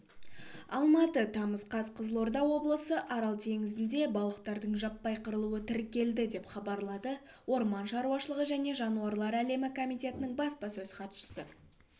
алматы тамыз қаз қызылорда облысы арал теңізінде балықтардың жаппай қырылуы тіркелді деп хабарлады орман шаруашылғы және жануралар әлемі комитетінің баспасөз хатшысы